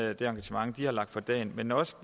og det engagement de har lagt for dagen men også